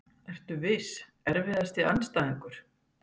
Ekki viss Erfiðasti andstæðingur?